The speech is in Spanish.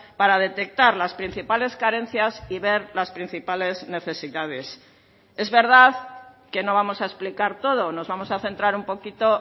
para detectar las principales carencias y ver las principales necesidades es verdad que no vamos a explicar todo nos vamos a centrar un poquito